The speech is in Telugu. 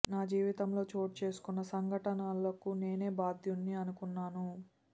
నా జీవితంలో చోటు చేసుకున్న సంఘటనలకు నేనే బాధ్యుడ్ని అనుకున్నాను